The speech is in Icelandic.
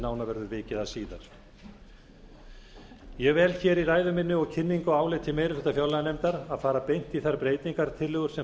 nánar verður vikið að síðar ég vel hér í ræðu minni og kynningu á áliti meiri hluta fjárlaganefndar að fara beint í þær breytingartillögur sem